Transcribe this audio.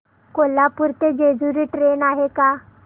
कोल्हापूर ते जेजुरी ट्रेन आहे का